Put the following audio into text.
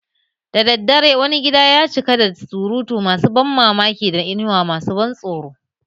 Da daddare, wani gida ya cika da surutu masu ban mamaki da inuwa masu ban tsoro